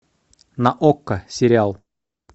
на окко сериал